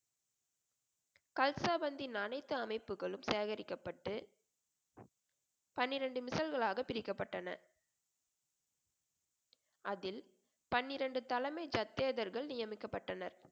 கல்ஸாபந்தின் அனைத்து அமைப்புகளும் சேகரிக்கப்பட்டு பனிரெண்டு களாக பிரிக்கப்பட்டன அதில் பன்னிரண்டு தலைமை தத்தேதர்கள் நியமிக்கப்பட்டனர்